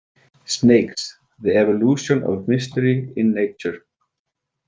Snakes, the Evolution of Mystery in Nature.